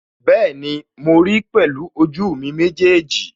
Bẹ́ẹ̀ni, mo ríi pẹ̀lú ojú mi méjèèjì